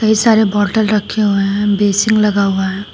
कई सारे बॉटल रखे हुए हैं बेसिन लगा हुआ है।